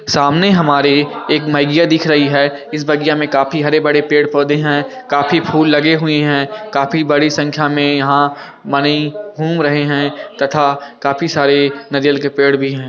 सामने हमारे एक बगिया दिख रही है इस बगिया मे काफी हर बड़े पेड़-पौधे हैं काफी फूल लगे हुए हैं काफी बड़ी संख्या में यहाँ माने घूम रहे है तथा काफी सारे नरयल के पेड़ भी हैं।